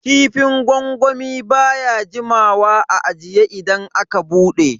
Kifin gwangwami baya jimawa a ajiye idan aka bude.